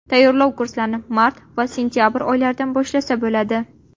Tayyorlov kurslarini mart va sentabr oylaridan boshlasa bo‘ladi.